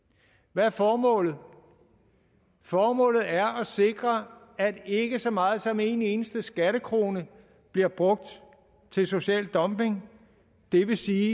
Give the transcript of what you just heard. hvad er formålet formålet er at sikre at ikke så meget som en eneste skattekrone bliver brugt til social dumping det vil sige